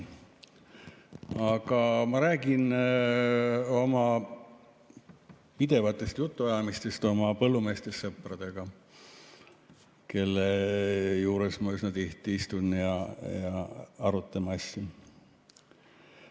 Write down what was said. Aga ma räägin oma pidevatest jutuajamistest oma põllumeestest sõpradega, kelle juures ma üsna tihti istun, ja me arutame asju.